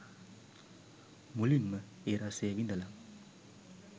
මුලින්ම ඒ රසය විඳල